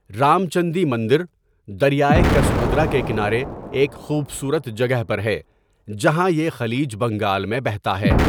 رامچندی مندر، دریائے کسبھدرا کے کنارے ایک خوبصورت جگہ پر ہے جہاں یہ خلیج بنگال میں بہتا ہے۔